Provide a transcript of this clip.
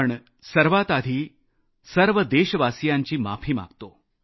पण सर्वात आधी सर्व देशवासियांची माफी मागतो